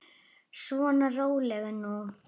Svona, rólegur nú.